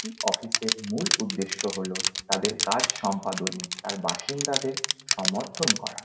একটি অফিস -এর মূল উদ্দেশ্য হলো তাদের কাজ সম্পাদনে তার বাসিন্দাদের সমর্থন করা।